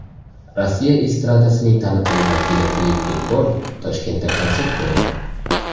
Rossiya estradasining taniqli vakili Filipp Kirkorov Toshkentda konsert berdi.